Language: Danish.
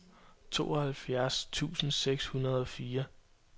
tooghalvfjerds tusind seks hundrede og fire